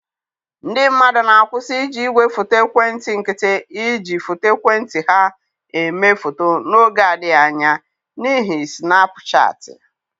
Ndị mmadụ na-akwụsị iji igwefoto ekwentị nkịtị iji foto ekwentị ha eme foto n'oge adịghị anya, n'ihi snapu shaatị